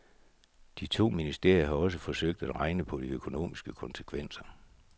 De to ministerier har også forsøgt at regne på de økonomiske konsekvenser.